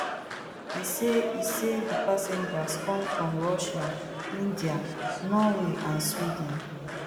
e say e say di passengers come from russia india norway and sweden